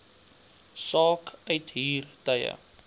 saak uithuur tye